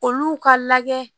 Olu ka lajɛ